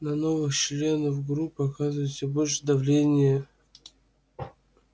на новых членов группы оказывают все большее давление